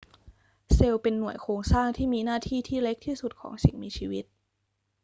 เซลล์เป็นหน่วยโครงสร้างที่มีหน้าที่ที่เล็กที่สุดของสิ่งมีชีวิต